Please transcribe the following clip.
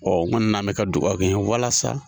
n kɔni na ni bɛ ka dugawu kɛ n ye walasa